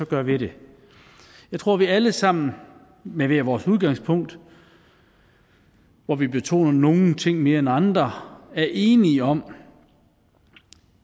gøre ved det jeg tror vi alle sammen med hver vores udgangspunkt hvor vi betoner nogle ting mere end andre er enige om